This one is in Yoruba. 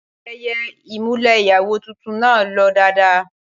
Ayẹyẹ ìmùlẹ̀ ìyàwó tuntun náà lọ dáadáa